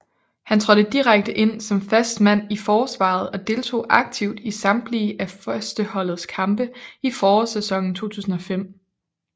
Han trådte direkte ind som fast mand i forsvaret og deltog aktivt i samtlige af førsteholdets kampe i forårsæsonen 2005